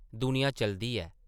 दुनिया चलदी ऐ ।